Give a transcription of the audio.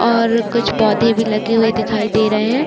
और कुछ पौधे भी लगे हुए दिखाई दे रहे हैं।